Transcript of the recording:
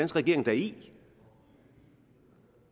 regering da i